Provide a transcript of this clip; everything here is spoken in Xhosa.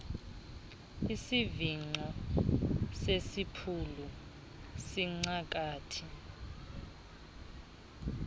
isivingco sesipulu sincangathi